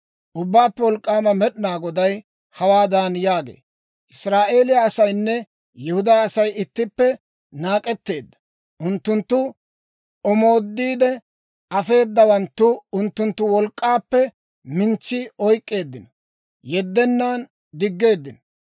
Ubbaappe Wolk'k'aama Med'inaa Goday hawaadan yaagee; «Israa'eeliyaa asaynne Yihudaa Asay ittippe naak'etteedda. Unttuntta omooddiide afeeddawanttu unttuntta wolk'k'appe minissi oyk'k'eeddino; yeddennan diggeeddino.